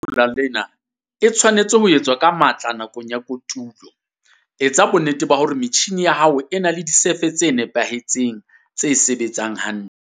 Taolo ya lehola lena e tshwanetse ho etswa ka matla nakong ya kotulo. Etsa bonnete hore metjhine ya hao e na le disefe tse nepahetseng, tse sebetsang hantle.